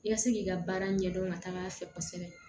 I ka se k'i ka baara ɲɛdɔn ka taga a fɛ kosɛbɛ